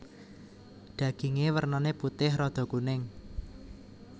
Daginge wernane putih rada kuning